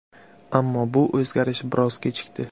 Ammo bu o‘zgarish biroz kechikdi.